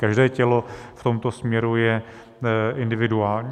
Každé tělo v tomto směru je individuální.